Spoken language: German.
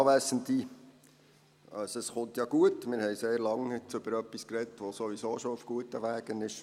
Wir haben jetzt sehr lange über etwas gesprochen, das sowieso schon auf guten Wegen ist.